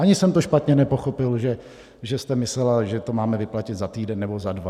Ani jsem to špatně nepochopil, že jste myslela, že to máme vyplatit za týden nebo za dva.